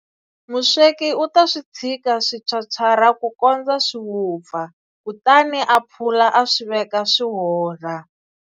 Musweki u ta swi tshika swi phyaphyarha ku kondza swi vupfa, kutani a phula a swi veka swi hola.